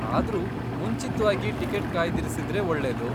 ಆದ್ರೂ, ಮುಂಚಿತ್ವಾಗಿ ಟಿಕೆಟ್ ಕಾಯ್ದಿರಿಸಿದ್ರೆ ಒಳ್ಳೆದು.